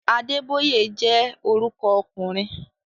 Adébóyè jẹ́ orúkọ ọkùnrin